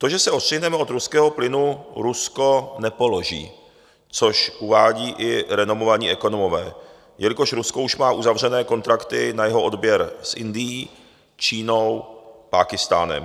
To, že se odstřihneme od ruského plynu, Rusko nepoloží, což uvádí i renomovaní ekonomové, jelikož Rusko už má uzavřené kontrakty na jeho odběr s Indií, Čínou, Pákistánem.